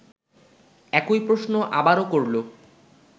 একই প্রশ্ন আবারও করল